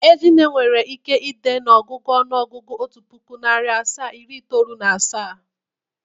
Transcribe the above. Ezinne nwere ike ide n'ọgụgụ ọnụọgụgụ otu pụkụ, narị asaa, iri itoolu na asaa